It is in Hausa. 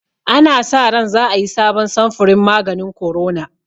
Ana sa ran za a yi sabon samfurin maganin korona